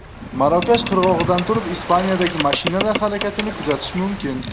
Marokash qirg‘og‘idan turib Ispaniyadagi mashinalar harakatini kuzatish mumkin.